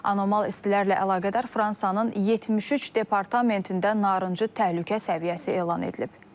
Anomal istilərlə əlaqədar Fransanın 73 departamentində narıncı təhlükə səviyyəsi elan edilib.